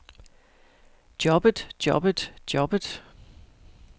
jobbet jobbet jobbet